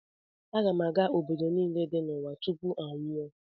Aga m aga obodo niile dị n’ụwa tupu m anwụọ